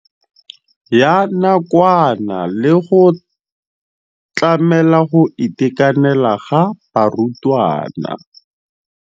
Ya nakwana le go tlamela go itekanela ga barutwana.